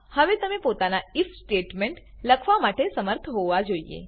મા હવે તમે પોતાના આઇએફ સ્ટેટમેન્ટ લખવા માટે શમર્થ હોવા જોઈએ